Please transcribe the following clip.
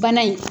Bana in